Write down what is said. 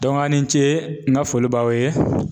a' ni ce n ka foli b'aw ye.